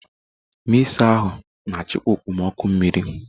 Mịzá ahụ na-achịkwa okpomọkụ mmiri.